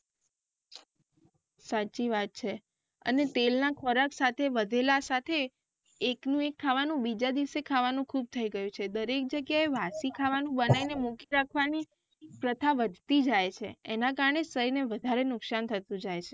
સાચી વાત છે અને તેલ ના ખોરાક સાથે વધેલા સાથે એકનું એક ખાવાનું બીજા દિવસે ખાવાનું ખુબ થઇ ગયું છે દરેક જગયાએ વાસી ખાવાનું બનાઈ ને મૂકી રાખવાની પ્રથા વધતી જ જાય છે એના કારણે શરીરને વધારે નુકસાન થતું જાય.